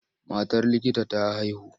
Matar likita ta haihu.